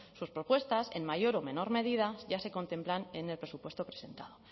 sus propuestas en mayor o menor medida ya se contemplan en el presupuesto presentado